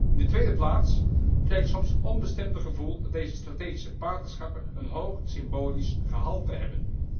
In de tweede plaats krijg ik soms het onbestemde gevoel dat deze strategische partnerschappen een hoog symbolisch gehalte hebben.